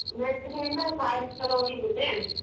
ಬೆಳಿಗ್ಗೆಯಿಂದ ಸಾಯಂಕಾಲವರೆಗೂ ಇರುತ್ತೆ.